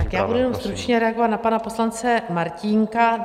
Tak já budu jenom stručně reagovat na pana poslance Martínka.